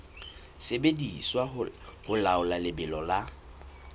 sebediswa ho laola lebelo la